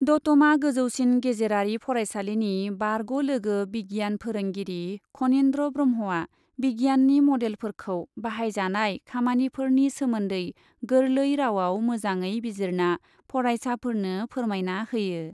दतमा गोजौसिन गेजेरारि फरायसालिनि बारग' लोगो बिगियान फोरोंगिरि खनिन्द्र ब्रह्मआ बिगियाननि मडेलफोरखौ बाहायजानाय खामानिफोरनि सोमोन्दै गोरलै रावआव मोजाङै बिजिरना फरायसाफोरनो फोरमायना होयो।